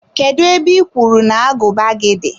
kedụ ebe I kwuru na agụba gị dị?